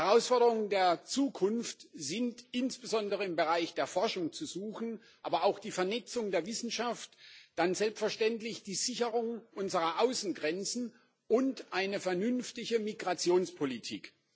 Die Herausforderungen der Zukunft sind insbesondere im Bereich der Forschung zu suchen, aber auch in der Vernetzung der Wissenschaft, dann selbstverständlich in der Sicherung unserer Außengrenzen und in einer vernünftigen Migrationspolitik.